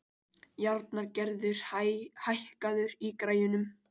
Járngerður, hækkaðu í græjunum.